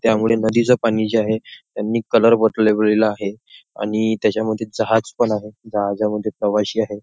त्यामुळे नदीचं पाणी जे आहे त्यांनी कलर आहे आणि त्याच्यामध्ये जहाज पण आहे जहाजामध्ये प्रवाशी आहे.